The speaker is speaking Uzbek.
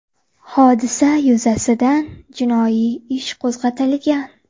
Hodisa yuzasidan jinoiy ish qo‘zg‘atilgan.